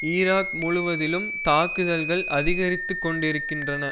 Iraq முழுவதிலும் தாக்குதல்கள் அதிகரித்து கொண்டிருக்கின்றன